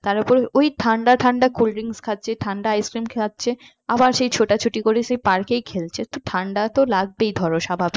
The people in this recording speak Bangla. তার ওপর ওই ঠান্ডা ঠান্ডা cold drinks খাচ্ছে ঠান্ডা ice cream খাচ্ছে আবার সেই ছোটাছুটি করে সেই পার্কেই খেলছে তো ঠান্ডা তো লাগবেই ধরো স্বাভাবিক